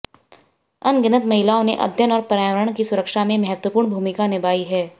अनगिनत महिलाओं ने अध्ययन और पर्यावरण की सुरक्षा में महत्वपूर्ण भूमिका निभाई है